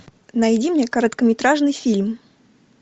найди мне короткометражный фильм